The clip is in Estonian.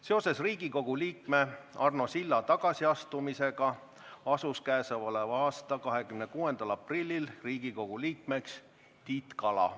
Seoses Riigikogu liikme Arno Silla tagasiastumisega asus k.a 26. aprillil Riigikogu liikmeks Tiit Kala.